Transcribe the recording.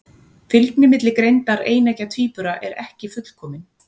Fylgni milli greindar eineggja tvíbura er ekki fullkomin.